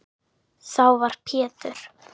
Þá var Pétur